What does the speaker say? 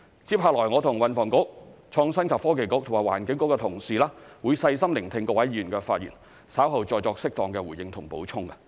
接下來我和運輸及房屋局、創新及科技局和環境局的同事會細心聆聽各位議員的發言，稍後再作適當的回應及補充。